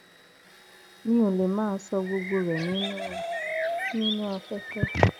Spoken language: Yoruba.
mi ò lè máa ṣọ gbogbo rẹ nínú nínú afẹfẹ